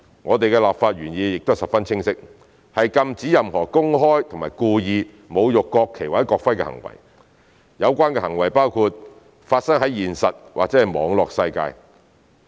我們的立法原意亦十分清晰，是禁止任何公開及故意侮辱國旗或國徽的行為，這包括發生在現實或網絡世界的行為。